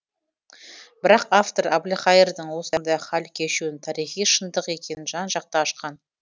бірақ автор әбілқайырдың осындай хал кешуінің тарихи шындық екенін жан жақты ашқан